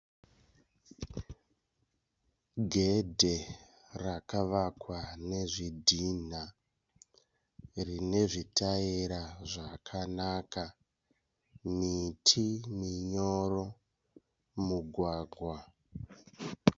Gedhe rakavakwa nezvidhinha rine zvitaera zvakanaka, miti minyoro, mugwagwa.